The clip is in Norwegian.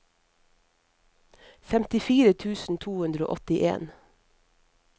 femtifire tusen to hundre og åttien